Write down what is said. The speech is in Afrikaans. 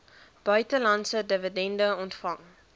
buitelandse dividende ontvang